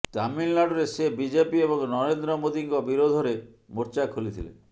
ତାମିଲନାଡୁରେ ସେ ବିଜେପି ଏବଂ ନରେନ୍ଦ୍ର ମୋଦିଙ୍କ ବିରୋଧରେ ମୋର୍ଚ୍ଚା ଖୋଲିଥିଲେ